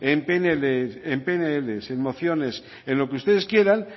en pnl en mociones en lo que ustedes quieran